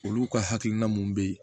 Olu ka hakilina mun bɛ yen